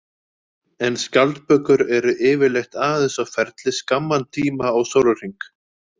En skjaldbökur eru yfirleitt aðeins á ferli skamman tíma á sólarhring.